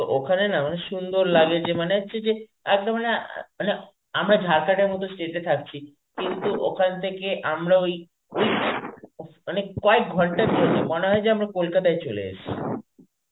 তো ওখানে না মানে সুন্দর লাগে যে মানে হচ্ছে যে একদম না মানে আ~ মানে আমরা Jharkhand এর মত state তে থাকছি. কিন্তু ওখান থেকে আমরা ওই মানে কয়েক ঘন্টার জন্যে মনে হয় যে আমরা কলকাতায় চলে এসেছি.